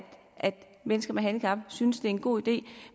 mennesker med handicap synes det er en god idé